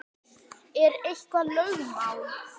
Er þetta eitthvað lögmál?